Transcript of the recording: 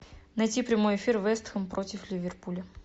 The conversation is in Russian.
найти прямой эфир вест хэм против ливерпуля